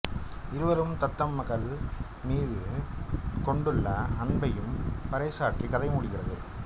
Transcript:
இருவரும் தத்தம் மகள் மீது கொண்டுள்ள அன்பையும் பறைசாற்றி கதை முடிகிறது